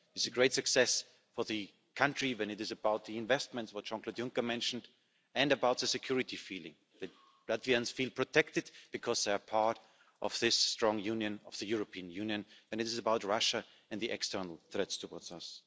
It is a great success for the country when it is about the investments, which Jean-Claude Juncker mentioned, and about the security feeling, that Latvians feel protected because they are part of this strong union of the European Union, and it is about Russia and the external threats towards us.